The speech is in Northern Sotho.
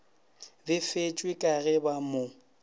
befetšwe ka ge ba mo